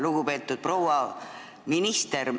Lugupeetud proua minister!